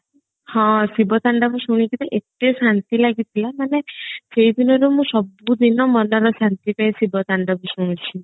ହଁ ଶିବ ତାଣ୍ଡବ ଶୁଣିକିରି ଏତେ ଶାନ୍ତି ଲାଗିଥିଲା ମାନେ ସେଇ ଦିନରୁ ମୁଁ ସବୁଦିନ ମନର ଶାନ୍ତି ପାଇଁ ଶିବ ତାଣ୍ଡବ ଶୁଣୁଛି